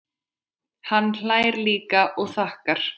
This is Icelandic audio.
Hann hlær líka og þakkar.